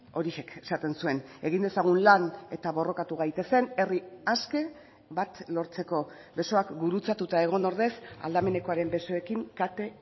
horixek esaten zuen egin dezagun lan eta borrokatu gaitezen herri aske bat lortzeko besoak gurutzatuta egon ordez aldamenekoaren besoekin kate